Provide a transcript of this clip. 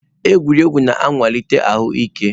Egwuregwu na-akwalite ahụ ike.